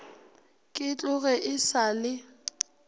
ke tloge e sa le